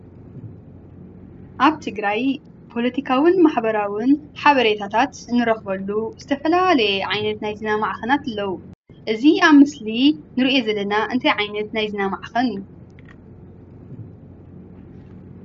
ኣብ ትግራይ ፖለቲካውን ማሕበራውን ሓበሬታታት እንረክበሉ ዝተፈላለየ ዓይነት ናይ ዜና ማዕከናት ኣለው። እዚ ኣብ ምስሊ እንርእዮ ዘለና እንታይ ዓይነት ናይ ዜና ማዕከን እዩ?